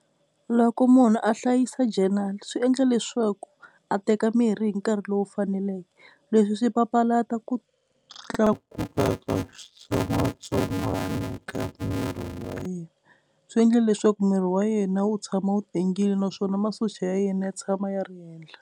Loko munhu a hlayisa journal swi endle leswaku a teka mirhi hi nkarhi lowu faneleke. Leswi swi papalata ku tlakuka ka xitsongwatsongwana ka miri wa yena. Swi endle leswaku miri wa yena wu tshama wu tengile naswona masocha ya yena ya tshama ya ri henhla.